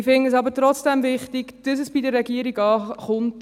Ich finde es aber trotzdem wichtig, dass es bei der Regierung ankommt.